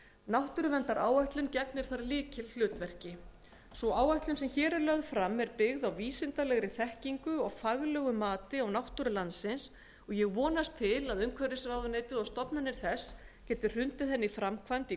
náttúruverndaráætlun er ekki eini þátturinn í því viðfangsefni en gegnir þar lykilhlutverki sú áætlun sem hér er lögð fram er byggð á vísindalegri þekkingu og faglegu mati og ég vonast til þess að umhverfisráðuneytið og stofnanir þess geti hrundið henni í framkvæmd í